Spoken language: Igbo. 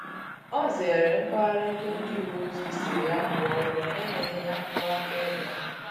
Ọ zere mpaghara ebe ndị uweojii sịrị ya kwuo ụgwọ na enyeghi ya akwụkwọ aka-ebe